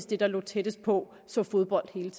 det der lå tættest på så fodbold hele